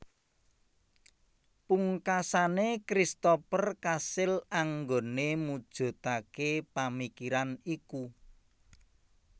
Pungkasane Christoper kasil anggone mujudake pamikiran iku